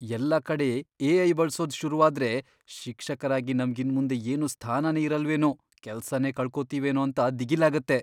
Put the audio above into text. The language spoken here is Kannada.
ಎಲ್ಲ ಕಡೆ ಎ.ಐ. ಬಳ್ಸೋದ್ ಶುರುವಾದ್ರೆ ಶಿಕ್ಷಕರಾಗಿ ನಮ್ಗ್ ಇನ್ಮುಂದೆ ಏನೂ ಸ್ಥಾನನೇ ಇರಲ್ವೇನೋ, ಕೆಲ್ಸನೇ ಕಳ್ಕೊತಿವೇನೋ ಅಂತ ದಿಗಿಲಾಗತ್ತೆ.